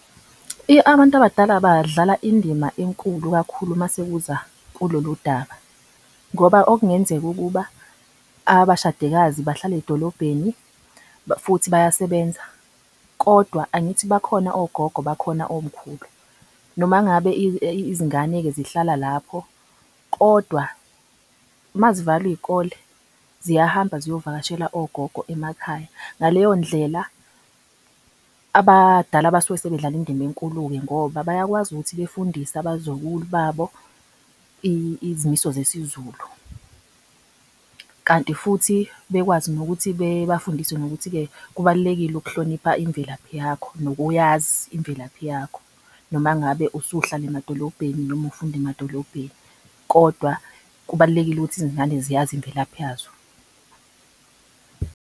Abantu abadala badlala indima enkulu kakhulu masekuza kulolu daba ngoba okungenzeka ukuba abashadikazi bahlale edolobheni futhi bayasebenza. Kodwa angithi bakhona ogogo, bakhona omkhulu. Noma ngabe izingane-ke zihlala lapho, kodwa uma zivalwa izikole ziyahamba ziyovakashela ogogo emakhaya. Ngaleyo ndlela, abadala basuke bedlala indima enkulu-ke ngoba bayakwazi ukuthi befundise abazukulu babo izimiso zesizulu. Kanti futhi bekwazi nokuthi bebafundise nokuthi-ke kubalulekile ukuhlonipha imvelaphi yakho, nokuyazi imvelaphi yakho. Noma ngabe usuhlala emadolobheni noma ufunda emadolobheni kodwa kubalulekile ukuthi izingane ziyazi imvelaphi yazo.